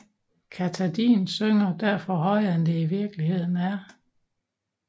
Katahdin syner derfor højere end det i virkeligheden er